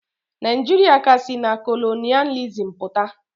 Naijiria ka si na kolonịalizim pụta.